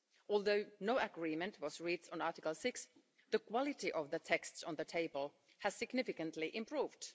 Although no agreement was reached on Article 6, the quality of the texts on the table has significantly improved.